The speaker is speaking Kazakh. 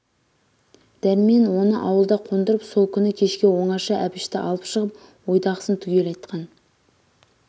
дәрмен оны ауылда қондырып сол күні кешке оңаша әбішті алып шығып ойдағысын түгел айтқан